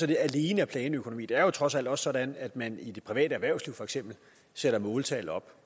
det alene er planøkonomi det er jo trods alt også sådan at man i det private erhvervsliv for eksempel sætter måltal op